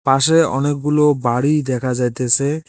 পাশে অনেকগুলো বাড়ি দেখা যাইতেসে।